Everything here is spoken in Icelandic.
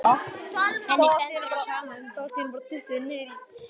Henni stendur á sama um það.